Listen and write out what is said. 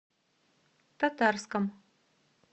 татарском